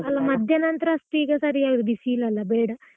ಅಲ್ಲ ಮಧ್ಯಾಹ್ನ ನಂತ್ರ ಅಷ್ಟು ಈಗ ಸರಿ ಆಗುದಿಲ್ಲ, ಬಿಸಿಲಲ್ಲ ಬೇಡ.